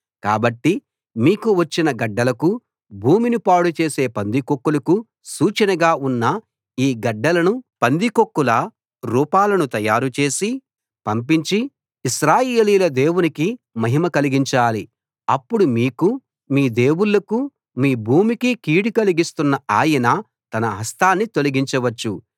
కాబట్టి మీకు వచ్చిన గడ్డలకూ భూమిని పాడు చేసే పందికొక్కులకూ సూచనగా ఉన్న ఈ గడ్డలను పందికొక్కుల రూపాలను తయారుచేసి పంపించి ఇశ్రాయేలీయుల దేవునికి మహిమ కలిగించాలి అప్పుడు మీకూ మీ దేవుళ్ళకూ మీ భూమికీ కీడు కలిగిస్తున్న ఆయన తన హస్తాన్ని తొలగించవచ్చు